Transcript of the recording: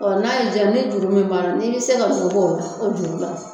Ɔ n'a y'ija ni juru min b'a la n'i be se ka min bɔ o la o juru la